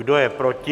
Kdo je proti?